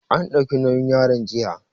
An ɗauki nauyin yaron jiya